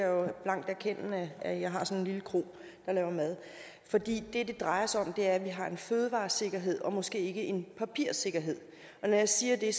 jo blankt erkende at jeg har sådan en lille kro der laver mad for det det drejer sig om er at vi har en fødevaresikkerhed og måske ikke en papirsikkerhed når jeg siger det